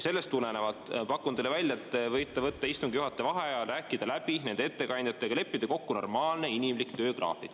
Sellest tulenevalt pakun teile välja, et te võite võtta istungi juhataja vaheaja, rääkida läbi nende ettekandjatega ja leppida kokku normaalne inimlik töögraafik.